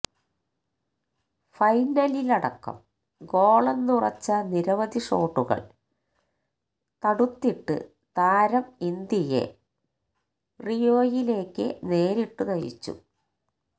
ഫൈനലിലടക്കം ഗോളെന്നുറച്ച നിരവധി ഷോട്ടുകൾ തടുത്തിട്ട് താരം ഇന്ത്യയെ റിയൊയിലേക്ക് നേരിട്ടു നയിച്ചു